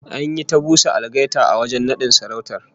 An yi ta busa algaita a wajen nadin sarautar